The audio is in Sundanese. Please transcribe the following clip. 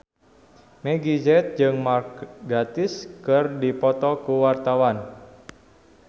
Meggie Z jeung Mark Gatiss keur dipoto ku wartawan